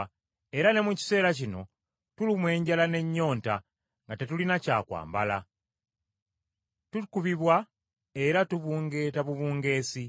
Era ne mu kiseera kino tulumwa enjala n’ennyonta nga tetulina na kyakwambala, tukubibwa era tubungeeta bubungeesi.